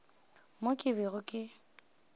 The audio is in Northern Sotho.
mo ke bego ke se